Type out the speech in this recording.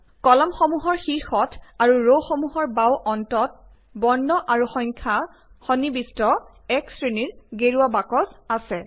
কলামসমূহৰ শীৰ্ষত আৰু ৰসমূহৰ বাওঁ অন্তত বৰ্ণ আৰু সংখ্যা সন্নিবিষ্ট এক শ্ৰেণীৰ গেৰুৱা বাকচ আছে